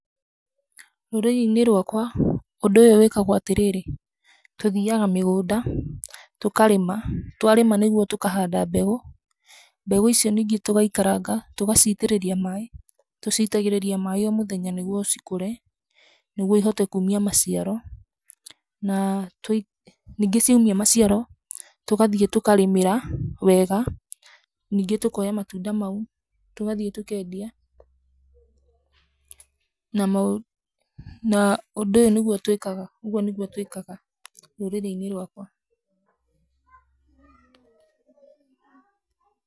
Rũrĩrĩ-inĩ rwakwa ũndũ ũyũ wĩkagwo atĩ rĩrĩ, tũthiaga mĩgũnda tũkarĩma. Twarĩma nĩguo tũkahanda mbegũ. Mbegũ icio ningĩ tũgaikaranga, tũgaciitĩrĩria maaĩ. Tũciitagĩrĩria maaĩ o mũthenya nĩguo cikũre, nĩguo ihote kuumia maciaro. Na ningĩ ciaumia maciaro, tũgathiĩ tũkarĩmĩra wega, ningĩ tũkooya matunda mau tũgathiĩ tũkeendia. Na mo, na ũndũ ũyũ nĩguo twĩkaga, ũguo nĩguo twĩkaga rũrĩrĩ-inĩ rwakwa.